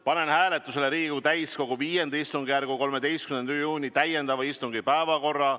Panen hääletusele Riigikogu täiskogu V istungjärgu 13. juuni täiendava istungi päevakorra.